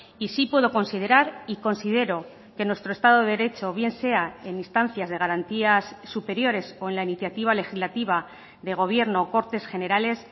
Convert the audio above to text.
y sí puedo considerar y considero que nuestro estado de derecho bien sea en instancias de garantías superiores o en la iniciativa legislativa de gobierno cortes generales